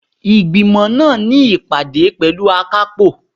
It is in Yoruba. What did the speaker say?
Ìgbìmọ̀ máà ní ìpàdé pẹ̀lú akápò.